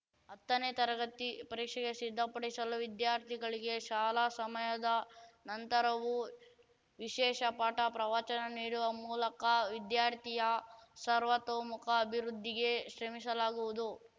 ಹತ್ತನೇ ತರಗತಿ ಪರೀಕ್ಷೆಗೆ ಸಿದ್ಧಪಡಿಸಲು ವಿದ್ಯಾರ್ಥಿಗಳಿಗೆ ಶಾಲಾ ಸಮಯದ ನಂತರವೂ ವಿಶೇಷ ಪಾಠ ಪ್ರವಚನ ನೀಡುವ ಮೂಲಕ ವಿದ್ಯಾರ್ಥಿಯ ಸರ್ವತೋಮಮುಖ ಅಭಿವೃದ್ಧಿಗೆ ಶ್ರಮಿಸಲಾಗುವುದು